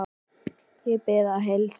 Ég bið að heilsa.